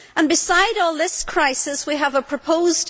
Beside all this crisis, we have a proposed